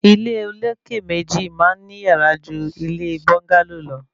Ilé olókè méjì máa ń ní yàrá jù ilé ilé búńgálò lọ